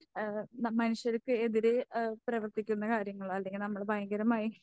ഏഹ് മനുഷ്യർക്ക് എതിരെ ഏഹ് പ്രവർത്തിക്കുന്ന കാര്യങ്ങൾ അല്ലെങ്കിൽ നമ്മള് ഭയങ്കരമായി